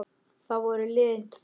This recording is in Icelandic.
Þá voru liðin tvö ár.